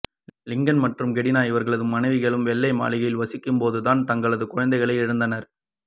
Lincoln மற்றும் Kennedy இவர்களது மனைவிகளும் வெள்ளை மாளிகையில் வசிக்கும் போது தான் தங்களது குழந்தைகளை இழந்தனர்